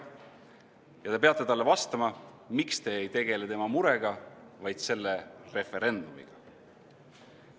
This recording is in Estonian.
Ja te peate talle vastama, miks te ei tegele tema murega, vaid selle referendumiga.